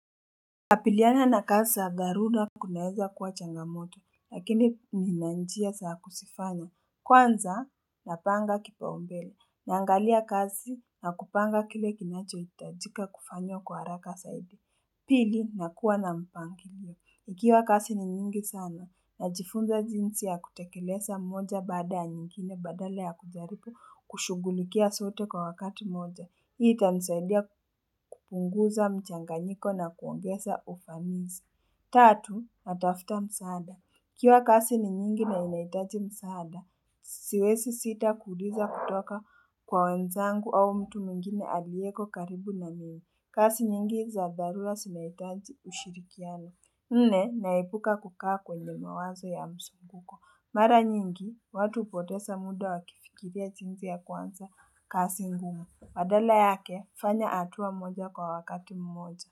Kukapiliana na kasi za garura kunaeza kuwa changamoto lakini ninanjia sa kusifanya kwanza napanga kipaombele naangalia kasi na kupanga kile kinachohitajika kufanywa kwa haraka saidi Pili, nakuwa na mpangilio. Ikiwa kasi ni nyingi sana, najifunza jinsi ya kutekelesa moja baada ya nyingine badala ya kujaribu kushugulikia sote kwa wakati moja. Hii itanisaidia kupunguza mchanganyiko na kuongeza ufanisi. Tatu, natafuta msaada. Ikiwa kasi ni nyingi na inahitaji msaada, siwesi sita kuuliza kutoka kwa wenzangu au mtu mwingine alieko karibu na mimi. Kasi nyingi za dharura sinahitaji ushirikiano. Nne naepuka kukaa kwenye mawazo ya msunguko. Mara nyingi, watu hupotesa muda wakifikiria jinzi ya kuanza kasi ngumu. Badala yake, fanya hatua moja kwa wakati mmoja.